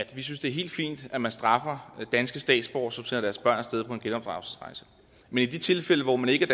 at vi synes det er helt fint at man straffer danske statsborgere som sender deres børn af sted på en genopdragelsesrejse men i de tilfælde hvor man ikke